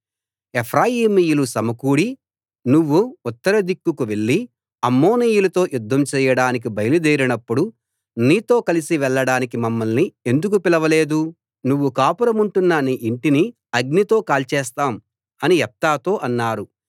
ఎఫ్రాయిమీయులు సమకూడి నువ్వు ఉత్తరదిక్కుకు వెళ్లి అమ్మోనీయులతో యుద్ధం చెయ్యడానికి బయలుదేరినప్పుడు నీతో కలిసి వెళ్ళడానికి మమ్మల్ని ఎందుకు పిలవలేదు నువ్వు కాపురముంటున్న నీ ఇంటిని అగ్నితో కాల్చేస్తాం అని యెఫ్తాతో అన్నారు